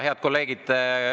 Head kolleegid!